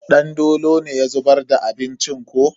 Dandolo ne ya zubar da abincin ko?